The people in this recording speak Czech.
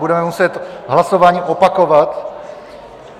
Budeme muset hlasování opakovat.